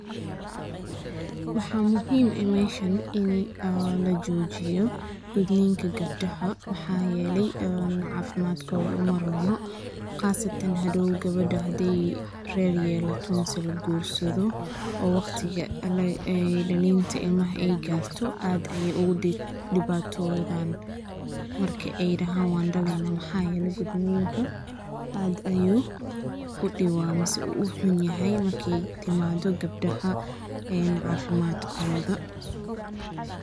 Waxaa muxim eh meshan ini lajojiyo gudninka gebdaxa maxa yeley cafimadkotha umarono qasatan hadow gebeda xadeey rer yelato ama lagursado oo waqtiga dalinta ilmaxa ey garto aad aye ugudibatodan marki ey daxan wandalena mx yele gudninka aad ayu uxumaxay marki ey timado gebdaxa cafimadkotha.